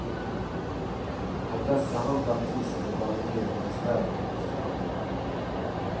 Om dessa handlar tvisten bland regeringens läromedelsförhandlare.